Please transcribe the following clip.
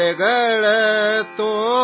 ಮೇರೆ ಸಮಜ್ ದಾರ್ ಲಾಡಲೇ ಸೋ ಜಾವೋ